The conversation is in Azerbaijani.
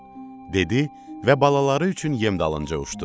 Dedi və balaları üçün yem dalınca uçtu.